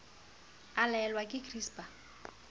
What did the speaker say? a laolwe ke gcis ba